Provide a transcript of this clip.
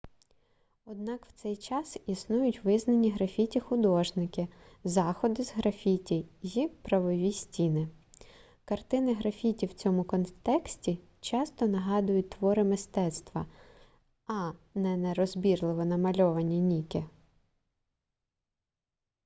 однак в цей час існують визнані графіті-художники заходи з графіті й правові стіни картини графіті в цьому контексті часто нагадують твори мистецтва а не нерозбірливо намальованані ніки